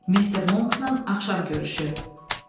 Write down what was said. Mr. Monksla axşam görüşü.